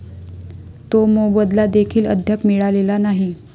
तो मोबदला देखील अद्याप मिळालेला नाही.